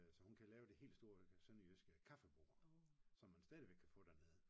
Så hun kan lave det hele store sønderjyske kaffebord som man stadigvæk kan få dernede